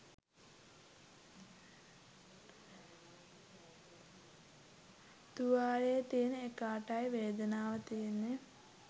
තුවාලේ තියෙන එකාටයි වේදනාව තියෙන්නේ